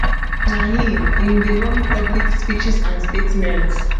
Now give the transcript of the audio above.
na im im dey run public speeches and statements